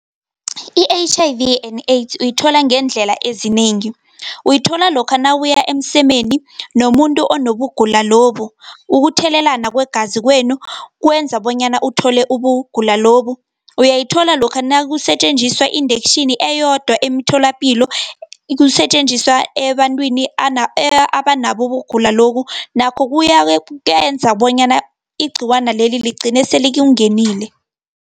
I-H_I_V and AIDS, uyithola ngeendlela eziningi. Uyithola lokha nawuya emsemeni nomuntu onobugulo lobu . Ukuthelelelana kwegazi kwenu, kwenza bonyana uthole ubugula lobu . Uyayithola lokha nakusetjenziswa indektjhini eyodwa emtholapilo, kusetjenziswa ebantwini abanabo ubugula lobu nakho kuyenza bonyana igciwaneli, ligcine selikungenile.